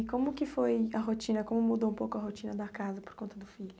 E como que foi a rotina, como mudou um pouco a rotina da casa por conta do filho?